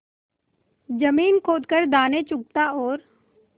जमीन खोद कर दाने चुगता और